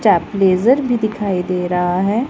चापलेजर दिखाई दे रहा हैं।